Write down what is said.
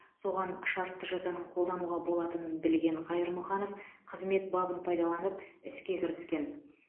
соған шартты жазаның қолдануға болатынын білген қ қайырмұханов қызмет бабын пайдаланып іске кіріскен